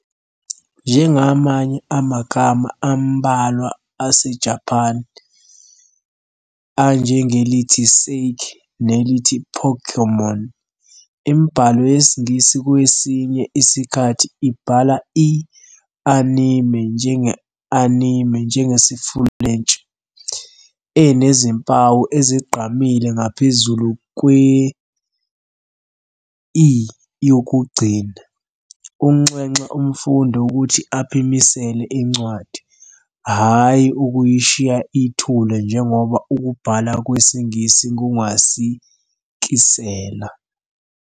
Njengamanye amagama ambalwa aseJapane, anjengelithi "saké" nelithi "Pokémon", imibhalo yesiNgisi kwesinye isikhathi ibhala i- "anime" njenge- "animé", njengesiFulentshi, enezimpawu ezigqamile ngaphezulu kwe- "e" yokugcina, ukunxenxa umfundi ukuthi aphimisele incwadi, hhayi ukuyishiya ithule njengoba ukubhala kweNgisi kungasikisela.